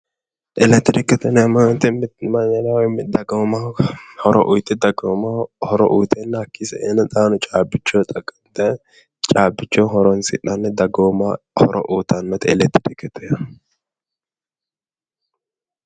Elekitirikete yinneemmo woyte mitu mannira woyi taqamuwaho horo uyite dagoommaho hakkichini saenna caabbichoho xaqa'minanni caabbichoho horonsi'nanni dagoomaho horo uyittanote elekitirikete yaa